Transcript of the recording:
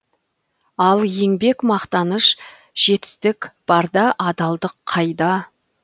ал еңбек мақтаныш жетістік бар да адалдық қайда